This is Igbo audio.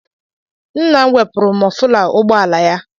Nna m wepụrụ mọfụla ụgbọala ya.